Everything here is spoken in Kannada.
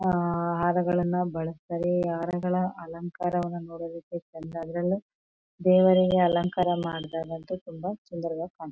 ಹಾರಗಳನ್ನ ಬಳಸ್ತಾರೆ ಹಾರಗಳ ಅಲಂಕಾರವನ ನೋಡೂದುಕ ಚಂದ ಅದ್ರಲ್ಲಿ ದೇವರಿಗೆ ಅಲಂಕರ ಮಾಡದಾಗ ಅಂತೂ ತುಂಬಾ ಸುಂದರವಾಗಿ ಕಾಣ್--